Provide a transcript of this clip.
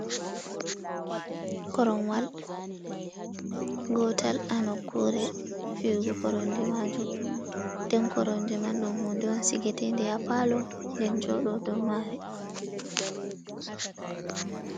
Korowal gotal ha nokkure fi’yugo koromje majum. Nden koronje mai ɗum hunde on sigateɗe ha palo, nden joɗo ɗo mari.